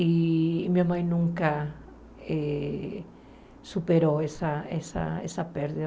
E minha mãe nunca eh superou essa essa essa perda.